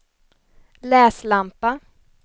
läslampa